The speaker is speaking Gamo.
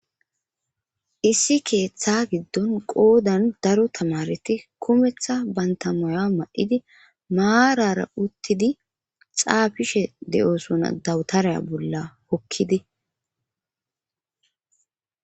Issi keeththa giddon qoodan daro tamareti kumeththa banta maya mayidi maarara uttidi xaafishe de'osona dawutareya bolla hokkidi